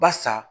Basa